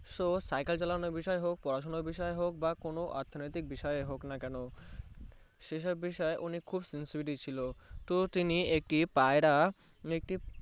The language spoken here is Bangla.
তো Cycle চালানোর বিষয়ে হোক পড়াশোনার বিষয়ে হোক কোনো অর্থ নৈতিক বিসরি হোক না কোনো সেসব বিষয় সে খুব sincerety ছিলও তো তিনি একটি পায়রা একটি